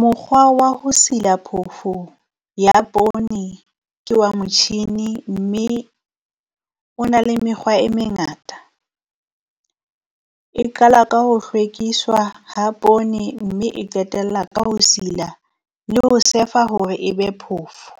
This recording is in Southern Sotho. Mokgwa wa ho sila phofu ya poone ke wa motjhini, mme o na le mekgwa e mengata. E qala ka ho hlwekiswa ha poone, mme e qetella ka ho sila le ho surf-a hore e be phofo.